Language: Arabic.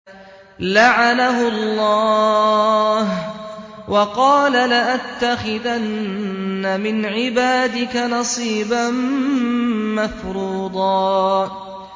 لَّعَنَهُ اللَّهُ ۘ وَقَالَ لَأَتَّخِذَنَّ مِنْ عِبَادِكَ نَصِيبًا مَّفْرُوضًا